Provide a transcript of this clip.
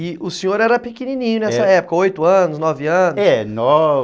E o senhor era pequenininho nessa época, oito anos, nove anos? É, nove...